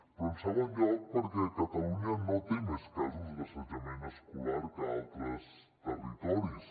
però en segon lloc perquè catalunya no té més casos d’assetjament escolar que altres territoris